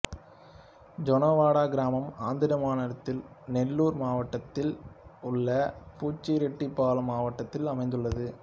ஜோன்னவாடா கிராமம் ஆந்திர மாநிலத்தின் நெல்லூர் மாவட்டத்தில் உள்ள புச்சிரெட்டிபாலம் வட்டத்தில் அமைந்துள்ளது